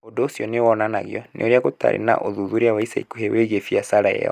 Ũndũ ũcio nĩ wonanagio nĩ ũrĩa gũtarĩ na ũthuthuria wa ica ikuhĩ wĩgiĩ biacara ĩyo.